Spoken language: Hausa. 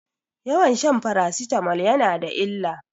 Yawan shan farasitamol yana da illa.